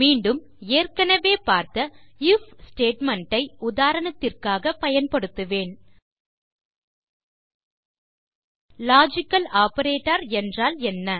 மீண்டும் ஏற்கனவே பார்த்த ஐஎஃப் ஸ்டேட்மெண்ட் ஐ உதாரணத்திற்காகப் பயன்படுத்துவேன் லாஜிக்கல் ஆப்பரேட்டர் என்றால் என்ன